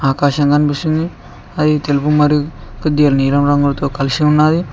ఆకాశం కనిపిస్తుంది అది తెలుపు మరియు కొద్దిగా కలిసి ఉన్నది